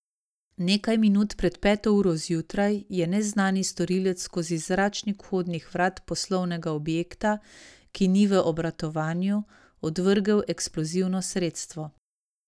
Nekaj minut pred peto uro zjutraj je neznani storilec skozi zračnik vhodnih vrat poslovnega objekta, ki ni v obratovanju, odvrgel eksplozivno sredstvo.